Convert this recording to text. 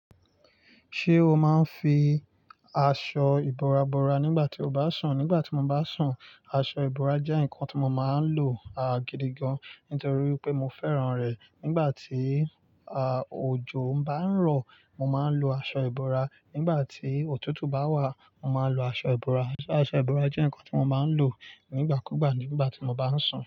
Ṣé o máa ń fi aṣọ ìbora bora nígbà tí o bá sùn? Nígbà tí mo bá sùn, aṣọ ìbora jẹ́ nǹkan tí mo máa ń lò, à, gidi gan. Nítorí pé mo fẹ́ràn rẹ̀. Nígbà tí, à, òjò ń bá ń rọ, mo máa ń lo aṣọ ìbora. Nígbà tí òtútù bá wà, mo máa lo aṣọ ìbora. Aṣọ ìbora jẹ́ nǹkan tí mo máa ń lò nígbà kúgbà nígbà tí mo bá ń sùn.